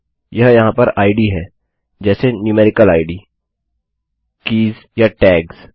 यह यहाँ पर इद आईडीहैं जैसे न्यूमेरिकल idसंख्यात्मक आईडीkeysकीज़ या tagsटैग्स